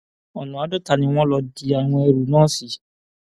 ọnà àádọta ni wọn lọ di àwọn ẹrú náà sí